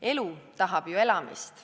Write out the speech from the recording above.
Elu tahab ju elamist.